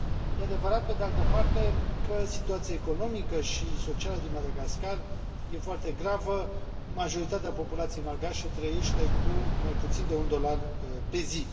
E adevărat, pe de alte parte, că situația economică și socială din Madagascar este foarte gravă, majoritatea populației malgașe trăiește cu mai puțin de un dolar pe zi.